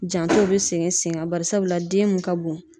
Jantow be sigi sen kan. Bari sabula den mun ka bon